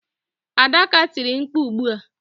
Adaka tiri mkpu ugbu a.